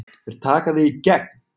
Þeir taka þig í gegn!